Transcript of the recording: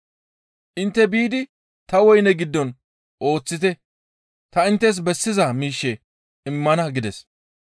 ‹Intte biidi ta woyne giddon ooththite; ta inttes bessiza miishshe immana› gides.